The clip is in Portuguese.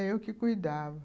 É, eu que cuidava.